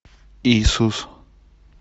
иисус